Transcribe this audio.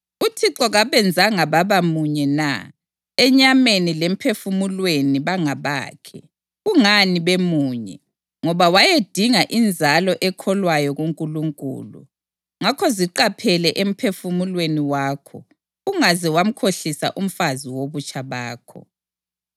UThixo kabenzanga baba munye na? Enyameni lemphefumulweni bangabakhe. Kungani bemunye? Ngoba wayedinga inzalo ekholwayo kuNkulunkulu. Ngakho ziqaphele emphefumulweni wakho, ungaze wamkhohlisa umfazi wobutsha bakho.